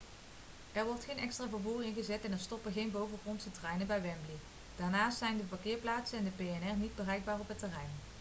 er wordt geen extra vervoer ingezet en er stoppen geen bovengrondse treinen bij wembley daarnaast zijn de parkeerplaatsen en de p&r niet bereikbaar op het terrein